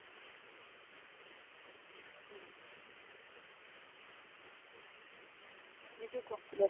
બીજું કો બસ